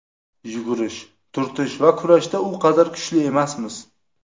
Yugurish, turtish va kurashda u qadar kuchli emasmiz.